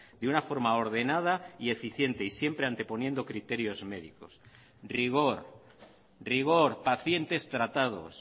de una forma ordenada y eficiente y siempre anteponiendo criterios médicos rigor rigor pacientes tratados